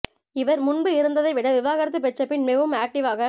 இவர் முன்பு இருந்ததை விட விவாகரத்து பெற்ற பின் மிகவும் ஆக்டிவ்வாக